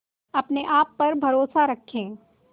अपने आप पर भरोसा रखें